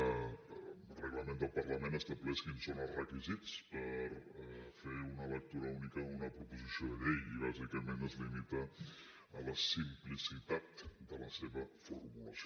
el reglament del parlament estableix quins són els requisits per fer una lectura única d’una proposició de llei i bàsicament es limiten a la simplicitat de la seva formulació